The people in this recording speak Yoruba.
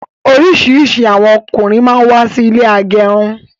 Orisirisi àwọn ọkùnrin máa ń wà sí ilé agẹrun